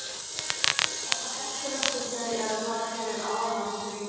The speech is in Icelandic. Er það hættulegt fyrir þau eða bara fyrir aðilann sem reykir?